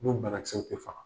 I b'o bankisɛw bɛɛ faga.